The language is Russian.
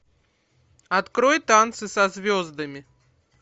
открой танцы со звездами